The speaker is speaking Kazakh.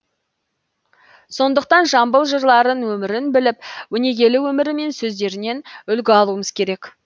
сондықтан жамбыл жырларын өмірін біліп өнегелі өмірі мен сөздерінен үлгі алуымыз керек